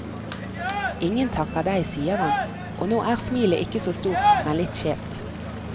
Ingen takker deg, sier han, og nå er smilet ikke så stort, men litt skjevt.